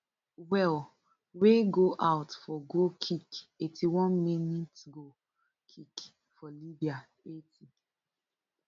well wey go out for goal kick eighty-one minsgoal kick for libya eighty